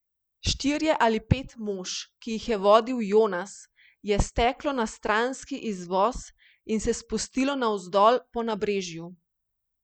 Štirje ali pet mož, ki jih je vodil Jonas, je steklo na stranski izvoz in se spustilo navzdol po nabrežju.